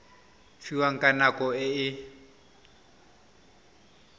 fiwang ka nako e a